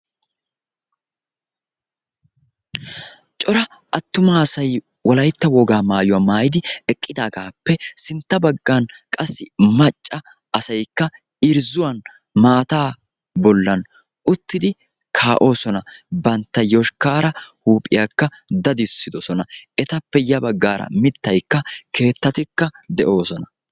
Cora attuma asay wolaytta wogaa maayuwaa maayidi eqqidagappe sintta baggaara macca asay irzxuwaan maataa bollan uttidi kaa'oosona. Bantta yoshkkara huuphphiyakka daddisidosona. Etappe ya baggaara ya baggaara mittay keettatikka de'ees.